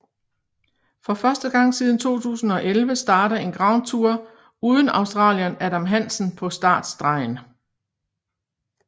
For første gang siden 2011 starter en Grand Tour uden australieren Adam Hansen på startstregen